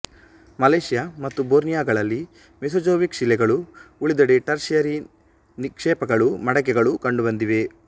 Malaysia ಮತ್ತು ಬೋರ್ನಿಯೊಗಳಲ್ಲಿ Mesozoic ಶಿಲೆಗಳೂ ಉಳಿದೆಡೆ ಟರ್ಷಿಯರಿ ನಿಕ್ಷೇಪಗಳೂ ಮಡಿಕೆಗಳೂ ಕಂಡುಬಂದಿವೆ